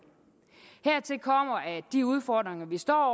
hertil kommer at de udfordringer vi står